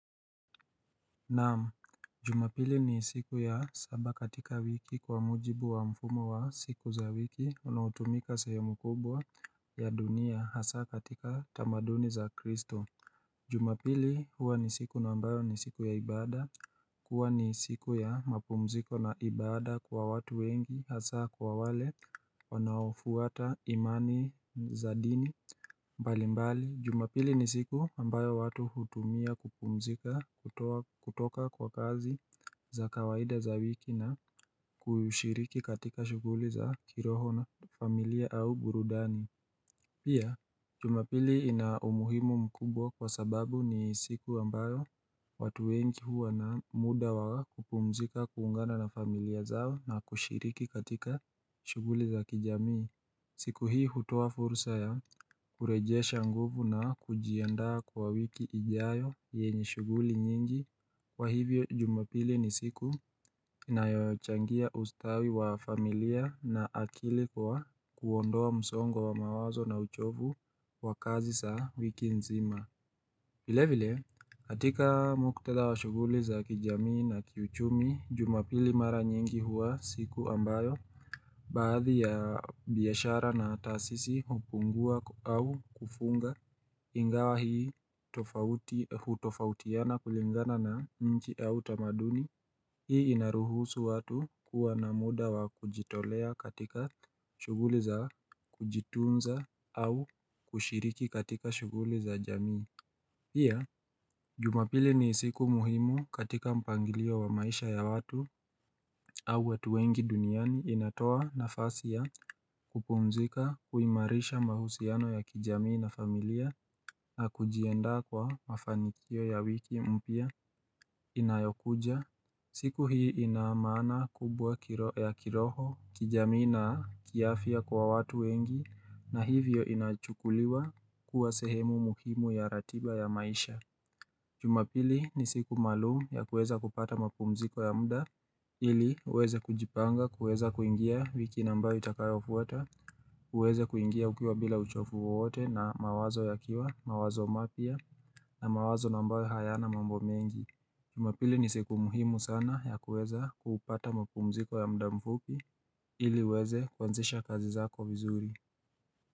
Naam, jumapili ni siku ya saba katika wiki kwa mujibu wa mfumo wa siku za wiki unaotumika sehemu mkubwa ya dunia hasa katika tamaduni za kristo Jumapili huwa ni siku na ambayo ni siku ya ibada huwa ni siku ya mapumziko na ibada kwa watu wengi hasa kwa wale wanaofuata imani za dini mbali mbali jumapili ni siku ambayo watu hutumia kupumzika kutoka kwa kazi za kawaida za wiki na kushiriki katika shughuli za kiroho na familia au burudani Pia jumapili ina umuhimu mkubwa kwa sababu ni siku ambayo watu wengi huwa na muda wa kupumzika kuungana na familia zao na kushiriki katika shughuli za kijamii siku hii hutoa fursa ya kurejesha nguvu na kujiandaa kwa wiki ijayo yenye shughuli nyingi kwa hivyo jumapili ni siku inayochangia ustawi wa familia na akili kwa kuondoa msongo wa mawazo na uchovu wa kazi za wiki nzima vile vile hatika muktadha wa shughuli za kijamii na kiuchumi jumapili mara nyingi huwa siku ambayo Baadhi ya biashara na taasisi hupungua au kufunga ingawa hii hutofautiana kulingana na nchi au tamaduni Hii inaruhusu watu kuwa na muda wa kujitolea katika shughuli za kujitunza au kushiriki katika shughuli za jamii Pia jumapili ni siku muhimu katika mpangilio wa maisha ya watu au watu wengi duniani inatoa nafasi ya kupumzika kuimarisha mahusiano ya kijamii na familia na kujiandaa kwa mafanikio ya wiki mpya inayokuja siku hii inaamana kubwa ya kiroho kijamii na kiafya kwa watu wengi na hivyo inachukuliwa kuwa sehemu muhimu ya ratiba ya maisha jumapili ni siku maalumu ya kuweza kupata mapumziko ya muda ili uweze kujipanga, kuweza kuingia wiki na ambayo itakayofuata, uweze kuingia ukiwa bila uchovu wowote na mawazo yakiwa, mawazo mapya na mawazo na ambayo hayana mambo mengi jumapili ni siku muhimu sana ya kuweza kupata mapumziko ya muda mfupi ili uweze kuanzisha kazi zako vizuri.